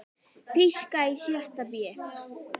Þýska í sjötta bé.